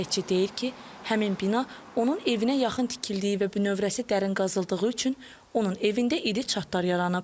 Şikayətçi deyir ki, həmin bina onun evinə yaxın tikildiyi və bünövrəsi dərin qazıldığı üçün onun evində iri çatdar yaranıb.